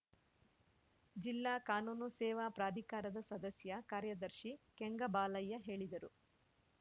ಜಿಲ್ಲಾ ಕಾನೂನು ಸೇವಾ ಪ್ರಾಧಿಕಾರದ ಸದಸ್ಯ ಕಾರ್ಯದರ್ಶಿ ಕೆಂಗಬಾಲಯ್ಯ ಹೇಳಿದರು